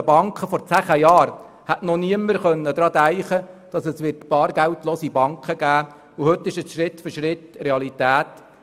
Vor zehn Jahren hätte noch niemand daran denken können, dass es bargeldlose Banken geben wird, und heute wird dies Schritt für Schritt zur Realität.